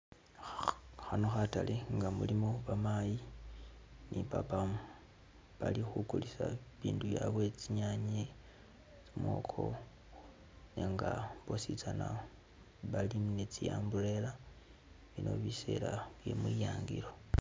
Khano khatale nga mulimo bamayi ni papa, bali khukulisa ibindu byabwe , tsinyanye, mwoko nenga bosi tsana bali ne tsi umbrella, bino biseela bye mwiyangilo.